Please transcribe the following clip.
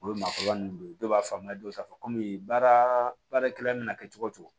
O ye maakɔrɔba n'u ye dɔw b'a faamuya dɔw ta fɔ kɔmi baarakɛla mana kɛ cogo o cogo